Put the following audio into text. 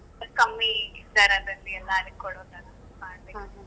ಕಮ್ಮಿ ದರದಲ್ಲಿ ಎಲ್ಲ ಅಲ್ಲಿ ಕೊಡೊತರ ಮಾಡ್ಬೇಕ್ ಅಂತ ಇದೆ .